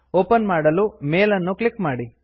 open ಮಾಡಲು mail ಅನ್ನು click ಮಾಡಿ